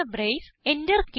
അടയ്ക്കുന്ന ബ്രേസ്